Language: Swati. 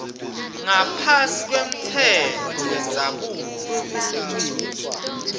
ngaphasi kwemtsetfo wendzabuko